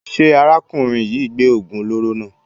Ṣé arákùnrin yìí gbé oògùn olóró náà?